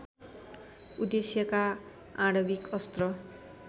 उद्देश्यका आणविक अस्त्र